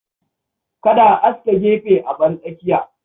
Kada a aske gefe a bar tsakiya.